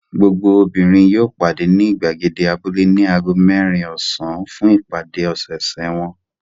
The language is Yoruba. Gbogbo obìnrin yóò pàdé ní ìgbàgede abúlé ní ago mẹ́rin ọ̀sán fún ìpàdé ọ̀sẹ̀ẹ̀sẹ̀ wọn.